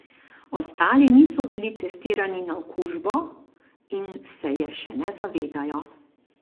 Ostali niso bili testirani na okužbo in se je še ne zavedajo.